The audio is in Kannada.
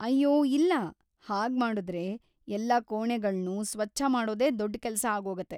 ಅಯ್ಯೋ ಇಲ್ಲ; ಹಾಗ್ಮಾಡುದ್ರೆ ಎಲ್ಲ ಕೋಣೆಗಳ್ನು ಸ್ವಚ್ಛ ಮಾಡೋದೇ ದೊಡ್ಡ್‌ ಕೆಲ್ಸ ಆಗೋಗತ್ತೆ.